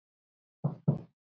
Verður hann kallaður inn aftur?